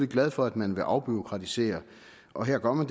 glad for at man vil afbureaukratisere og her gør man